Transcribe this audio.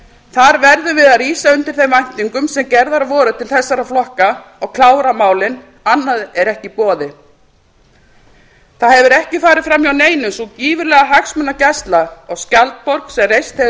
þar verðum við að rísa undir þeim væntingum sem gerðar voru til þessara flokka og klára málin annað er ekki í boði það hefur ekki farið framhjá neinum sú gífurlega hagsmunagæsla á skjaldborg sem reist hefur